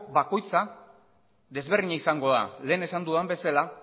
bakoitzak desberdina izango da lehen esan dudan bezala